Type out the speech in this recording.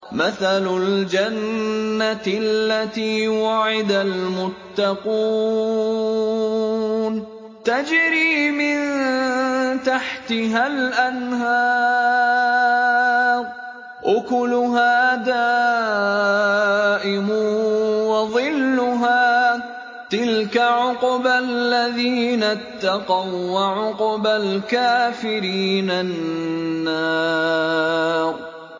۞ مَّثَلُ الْجَنَّةِ الَّتِي وُعِدَ الْمُتَّقُونَ ۖ تَجْرِي مِن تَحْتِهَا الْأَنْهَارُ ۖ أُكُلُهَا دَائِمٌ وَظِلُّهَا ۚ تِلْكَ عُقْبَى الَّذِينَ اتَّقَوا ۖ وَّعُقْبَى الْكَافِرِينَ النَّارُ